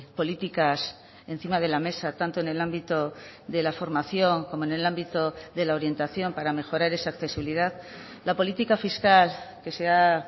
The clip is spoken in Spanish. políticas encima de la mesa tanto en el ámbito de la formación como en el ámbito de la orientación para mejorar esa accesibilidad la política fiscal que se ha